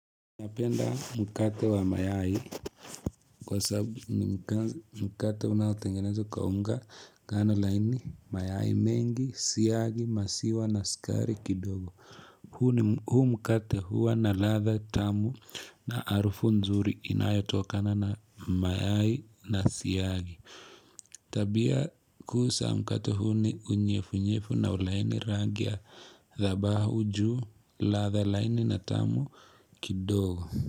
Napenda mkate wa mayai kwa sababu ni mkate unatengenezwa kwaunga ngano laini mayai mengi, siyagi, masiwa na sikari kidogo. Huu mkate huwa na latha tamu na harufu nzuri inayo tokana na mayai na siyagi. Tabia kuusa mkata huu ni unyefu unyefu na ulaini rangi ya dhabahu juu latha laini na tamu kidogo.